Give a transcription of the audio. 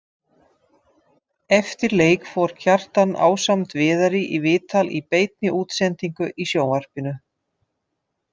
Eftir leik fór Kjartan ásamt Viðari í viðtal í beinni útsendingu í sjónvarpinu.